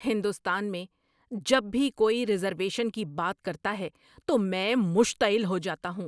ہندوستان میں جب بھی کوئی ریزرویشن کی بات کرتا ہے تو میں مشتعل ہو جاتا ہوں۔